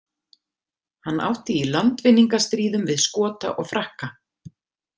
Hann átti í landvinningastríðum við Skota og Frakka.